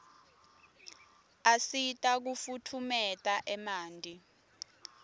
asita kufutfumeta emanti